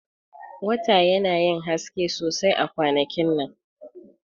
Wata yana yin haske sosai a kwanakin nan.